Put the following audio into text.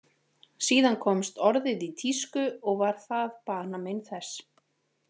Síðan komst orðið í tísku og var það banamein þess.